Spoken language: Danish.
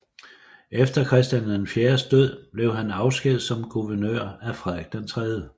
Etter Christian IVs død blev han afskediget som guvernør af Frederik III